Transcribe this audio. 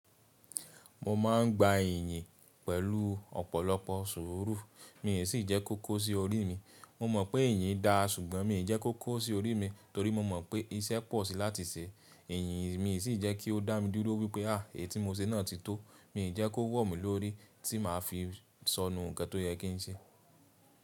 Mo ma n gba èyìn pẹ̀lú ọ̀pọ̀lọpọ̀ sùúrù, mi ò sì jẹ́ kó kó sí orí mi. Mo mọ̀ pé èyìn dá, ṣùgbọ́n mi ò jẹ́ kó kó sí orí mi torí mo mọ̀ pé iṣẹ́ pọ̀ sí láti ṣe. Èyìn mi ò sí jẹ́ kí ó dá mi dúró wípé́ “àí etí mo se náà ti tó”, mi ò jẹ́ kó wọ̀ mí lórí tí màá fi sọnu ǹkan tó yẹ kí n ṣe.